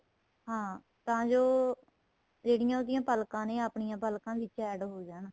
ਹਾਂ ਤਾਂ ਜੋ ਜਿਹੜੀਆਂ ਉਹਦੀਆਂ ਪੱਲਕਾਂ ਨੇ ਆਪਣੀਆਂ ਪੱਲਕਾਂ ਵਿੱਚ add ਹੋਣ ਜਾਣ